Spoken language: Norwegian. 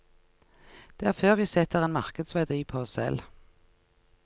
Det er før vi setter en markedsverdi på oss selv.